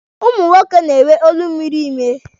Ụmụ nwoke na-enwe olu miri ime.